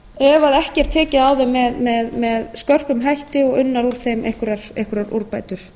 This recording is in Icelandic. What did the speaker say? ef ekki er tekið á þeim með skörpum hætti og unnar á þeim einhverjar úrbætur